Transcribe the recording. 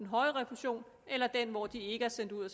høje refusion eller den hvor de ikke er sendt ud og